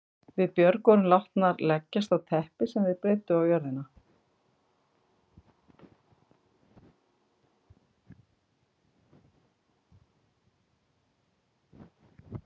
Við Björg vorum látnar leggjast á teppi sem þeir breiddu á jörðina.